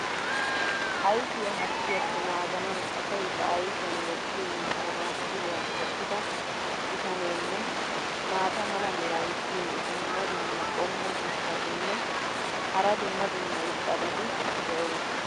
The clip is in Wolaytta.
ayfiya hargiyaappe naaganawu asay ba ayfiyan wottiyo manaaxiriya wottida bitaneenne maata mala meray diyo dumma dumma qommo mitattinne hara dumma dumma irxxabati de'oosona.